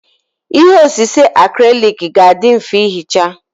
Ihe osise acrylic ga-adị mfe ihicha.